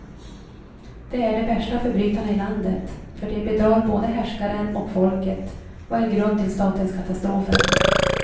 Det är de värsta förbrytarna i landet, för de bedrar både härskaren och folket och är grund till statens katastrofer.